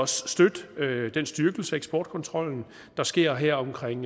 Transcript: støtte den styrkelse af eksportkontrollen der sker her omkring